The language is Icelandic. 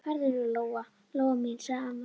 Æ, farðu nú, Lóa Lóa mín, sagði amma.